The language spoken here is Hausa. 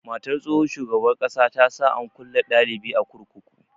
Matar tsohon shugaban ƙasa ta sa an kulle dalibi a kurkuku.